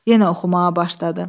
Yenə oxumağa başladı.